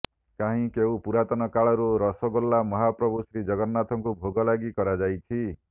କାହିଁ କେଉଁ ପୁରାତନ କାଳରୁ ରସଗୋଲା ମହାପ୍ରଭୁ ଶ୍ରୀଜଗନ୍ନାଥଙ୍କୁ ଭୋଗ ଲାଗି କରାଯାଉଛି